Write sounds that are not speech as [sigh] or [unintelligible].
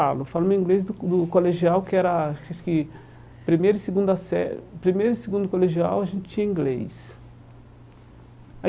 Falo Eu falo inglês do do colegial que era... acho que Primeiro e segunda [unintelligible] primeiro e segundo colegial, a gente tinha inglês.